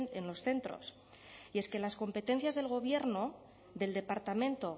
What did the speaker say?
en los centros y es que las competencias del gobierno del departamento